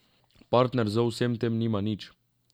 Partner z vsem tem nima nič.